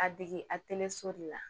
A dege a teli so de la